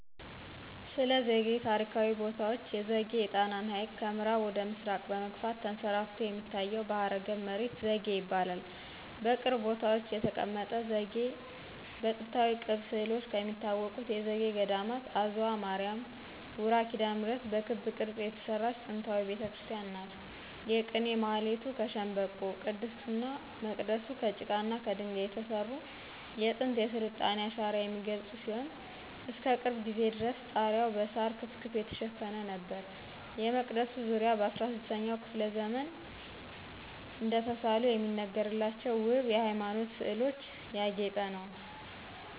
ስለዘጌ ታሪካዊ ቦታዎች ዘጌ የጣናን ሀይቅ ከምአራብ ወደ ምስራቅ በመግፋት ተንሰራፍቶ የሚታየው ባህረገብ መሬት ዘጌ ይባላል። በቅርብ ቦታዎች የተቀመጠ ዘጌ በጥንታዊ ቅብ ስእሎች ከሚታወቁት የዘጌ ገዴማት አዝዋ ማርያ ውራ ኪዳነምህረት በክብ ቅርጽ የተሰራች ጥንታዊ ቤተክርስቲያን ናት። የቅኔ ማህሌቱ ከሸንበቆ :ቅድስቱና መቅደሱ ከጭቃና ከደንጋይ የተሰሩ የጥንት የስልጣኔን አሻራ የሚገልጹ ሲሆን እስከቅርብ ጊዜ ድረስ ጣሪያዉ በሳር ክፍክፍ የተሸፈነ ነበር። የመቅደሱ ዙሪያ በ16 ኛው መቶ ክፍለ ዘመን እደተሳሉ የሚነገርላቸው ወብ የሃይማኖት ስእሎች ያጌጠ ነው።